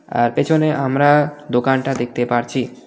আর পেছনে আমরা দোকানটা দেখতে পারছি .